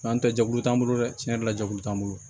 An tɛ jɛkulu t'an bolo dɛ tiɲɛ yɛrɛ la jɛkulu t'an bolo